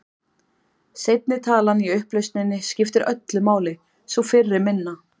Seinni talan í upplausninni skiptir öllu máli, sú fyrri minna.